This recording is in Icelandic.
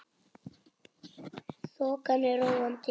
Þokan er róandi